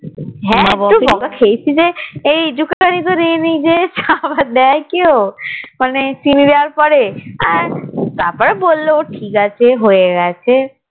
হ্যাঁ একটু বকা খেয়েছি যে একটু খানি তো নিজের খাবার দেয় কেউ মানে সে চিনি দেয়ার পরে ও তারপরে বললো ঠিক আছে